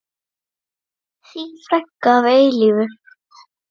Þín frænka að eilífu.